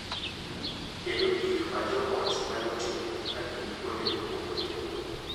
Kendo gik ma jo ot nyalo timo ka gin kuonde mopogore opogore,